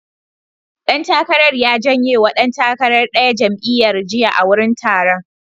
Ɗan takarar ya jenye wa ɗan takarar ɗaya jam'iyyar, yesterday at the event.